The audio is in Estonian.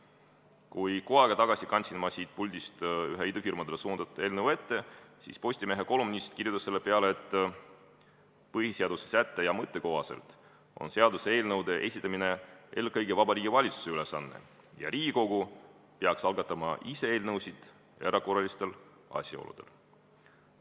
Kui ma kuu aega tagasi kandsin siit puldist ette ühe idufirmadele suunatud eelnõu, siis Postimehe kolumnist kirjutas selle peale, et põhiseaduse sätte ja mõtte kohaselt on seaduseelnõude esitamine eelkõige Vabariigi Valitsuse ülesanne ja Riigikogu peaks ise eelnõusid algatama vaid erakorralistel asjaoludel.